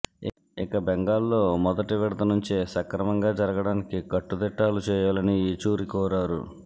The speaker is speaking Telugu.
ఇక బెంగాల్లో మొదటి విడత నుంచే సక్రమంగా జరగడానికి కట్టుదిట్టాలు చేయాలని ఏచూరి కోరారు